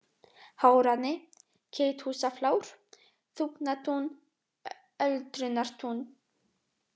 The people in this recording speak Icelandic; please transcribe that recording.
Hárani, Geithúsaflár, Þúfnatún, Öldrunartún